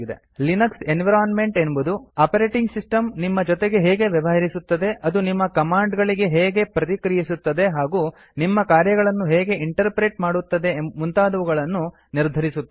Linux environment ಎನ್ನುವುದು operating system ನಿಮ್ಮ ಜೊತೆ ಹೇಗೆ ವ್ಯವಹರಿಸುತ್ತದೆ ಅದು ನಿಮ್ಮ ಕಮಾಂಡ್ ಗಳಿಗೆ ಹೇಗೆ ಪ್ರತಿಕ್ರಿಯಿಸುತ್ತದೆ ಹಾಗೂ ನಿಮ್ಮ ಕಾರ್ಯಗಳನ್ನು ಹೇಗೆ ಇಂಟರ್ಪ್ರೆಟ್ ಮಾಡುತ್ತದೆ ಮುಂತಾದವುಗಳನ್ನು ನಿರ್ಧರಿಸುತ್ತದೆ